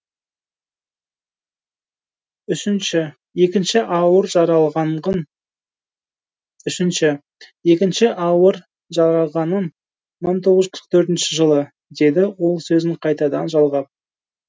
үшінші екінші ауыр жараланғаным мың тоғыз жүз қырық төртінші жылы деді ол сөзін қайтадан жалғап